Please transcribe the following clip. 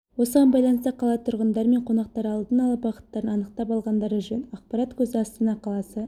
осыған байланысты қала тұрғындары мен қонақтары алдын ала бағыттарын анықтап алғандары жөн ақпарат көзі астана қаласы